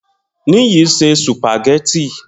Niyi se sùpàgẹ́tì